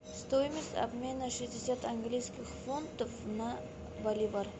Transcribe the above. стоимость обмена шестьдесят английских фунтов на боливар